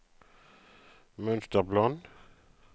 mønsterplan